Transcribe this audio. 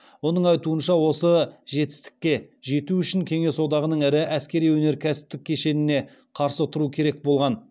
оның айтуынша осы жетістікке жету үшін кеңес одағының ірі әскери өнеркәсіптік кешеніне қарсы тұру керек болған